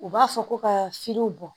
U b'a fɔ ko ka finiw bɔ